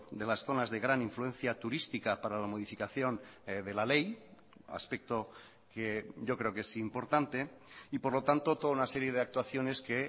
de las zonas de gran influencia turística para la modificación de la ley aspecto que yo creo que es importante y por lo tanto toda una serie de actuaciones que